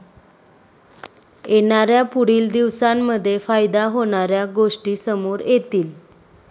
येणाऱ्या पुढील दिवसांमध्ये फायदा होणाऱ्या गोष्टी समोर येतील.